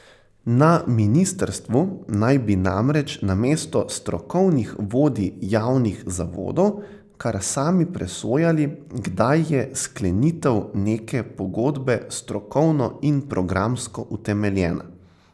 Na ministrstvu naj bi namreč namesto strokovnih vodij javnih zavodov kar sami presojali, kdaj je sklenitev neke pogodbe strokovno in programsko utemeljena.